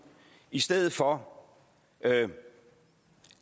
i stedet for